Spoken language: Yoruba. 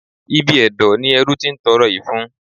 Ibi ẹ̀dọ̀ ni ẹrú ti ń tọrọ ìfun.